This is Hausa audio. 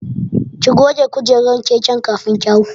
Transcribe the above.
Ki goge kujerar keken kafin ki hau.